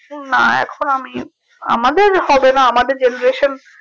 না এখন আমি আমাদের হবে না আমাদের generation